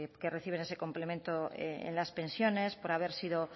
que reciben ese complemento en las pensiones por haber sido